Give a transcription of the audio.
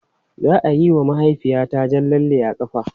Za a yi wa mahaifiyata jan lalle a ƙafa anjima.